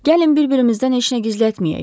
Gəlin bir-birimizdən heç nə gizlətməyək,